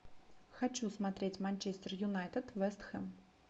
хочу смотреть манчестер юнайтед вест хэм